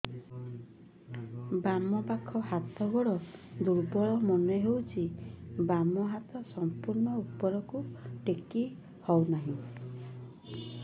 ବାମ ପାଖ ହାତ ଗୋଡ ଦୁର୍ବଳ ମନେ ହଉଛି ବାମ ହାତ ସମ୍ପୂର୍ଣ ଉପରକୁ ଟେକି ହଉ ନାହିଁ